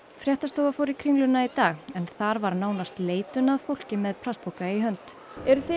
fréttastofa fór í Kringluna í dag en þar var nánast leitun að fólki með plastpoka í hönd eru þið